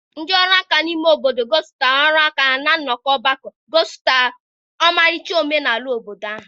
ndị ọrụ aka n'ime obodo gosipụtara ọrụ aka ha na nnọkọ ọgbakọ, gosipụtara ọmarịcha omenala obodo ahụ.